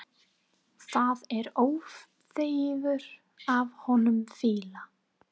Það er óþefur af honum fýla!